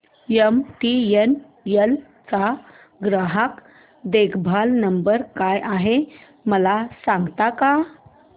MTNL चा ग्राहक देखभाल नंबर काय आहे मला सांगता का